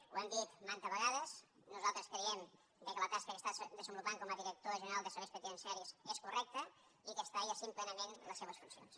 ho hem dit mantes vegades nosaltres creiem que la tasca que està desenvolupant com a director general de serveis penitenciaris és correcta i que està exercint plenament les seves funcions